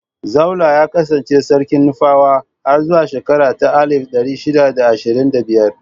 Zaulla ya kassance sarki na Nufawa har zuwa shekara ta alif ɗari shida da ashirin da biyar.